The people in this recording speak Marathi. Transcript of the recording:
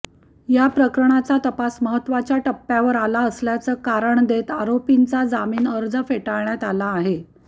या प्रकरणाचा तपास महत्त्वाच्या टप्प्यावर आला असल्याचं कारण देत आरोपींचा जामीन अर्ज फेटाळण्यात आला आहे